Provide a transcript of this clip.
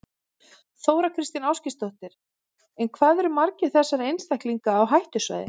Þóra Kristín Ásgeirsdóttir: En hvað eru margir þessara einstaklinga á hættusvæði?